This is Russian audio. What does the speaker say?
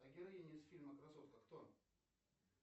героиня из фильма красотка кто